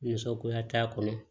Muso koya t'a kɔnɔ